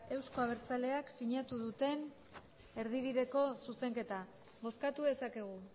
euzko abertzaleak sinatu duten erdibideko zuzenketa bozkatu dezakegu